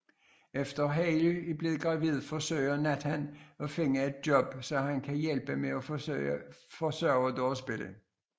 Efter Haley er blevet gravid forsøger Nathan at finde et job så han kan hjælpe med at forsørge deres barn